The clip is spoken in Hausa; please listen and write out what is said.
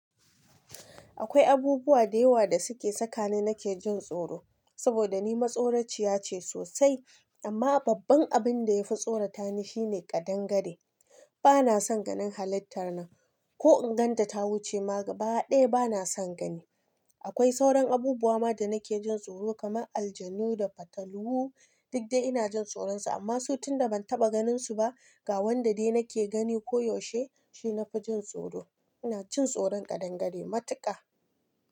Akwai abubuwa da yawa da suke sakani nake jin tsoro saboda ni matsoraciya ce sosai. Amma babban abin da yafi tsorata ni shine ƙadangare. Bana son ganin halittar nan. Ko in gan ta ta wuce ma gaba ɗaya bana son gani. Akwai sauran abubuwa ma da nake jin tsoro kamar aljanu da fatalwu. Duk dai ina jin tsoronsu amma so tun da ban taɓa ganinsu ba. Ga wanda dai nake gani koyaushe shi na fi jin tsoro. Ina cin tsoron kadangare matuƙa.